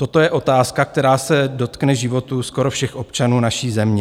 Toto je otázka, která se dotkne životů skoro všech občanů naší země.